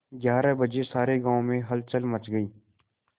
ग्यारह बजे सारे गाँव में हलचल मच गई